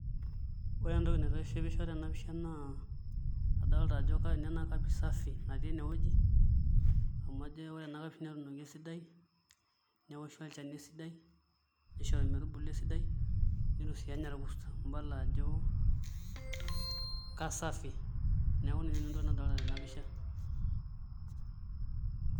Ore entoki naitishipisho tena pisha naa adoolta naajo nena kapishi safi natii enewoji amu ajo ena kapishi neetunoki esidai, netooshoki olchani esidai, neishori metubulu esidai neitu sii enya ilkus idol naajo kasafi. Neeku ina nanu entoki nadoolta tena pisha.